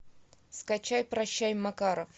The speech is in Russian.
скачай прощай макаров